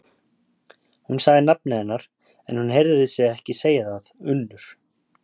Hún sagði nafnið hennar, en hún heyrði sig ekki segja það: Unnur.